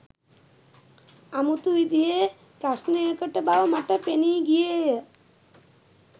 අමුතු විදිහේ ප්‍රශ්නයකට බව මට පෙනී ගියේය